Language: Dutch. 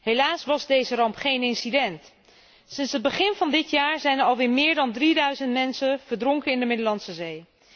Helaas was deze ramp geen incident. Sinds het begin van dit jaar zijn er alweer meer dan 3000 mensen verdronken in de Middellandse Zee.